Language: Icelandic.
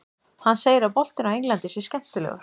Hann segir að boltinn á Englandi sé skemmtilegur.